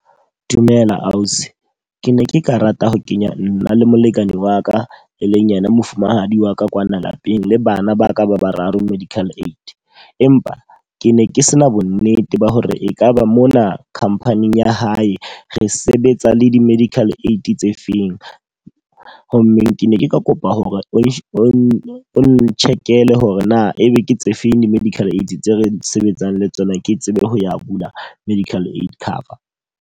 Dumela ausi. Ke ne ke ka rata ho kenya nna le molekane wa ka e leng yena mofumahadi wa ka kwana lapeng le bana ba ka ba bararo medical aid. Empa ke ne ke se na bo nnete ba hore e ka ba mona khampaning ya hae re sebetsa le di-medical aid tse feng. Ho mmeng ke ne ke kopa hore o no n-check-ele hore na e be ke tse feng di-medical aid tse re sebetsang le tsona. Ke tsebe ho ya bula medical aid cover.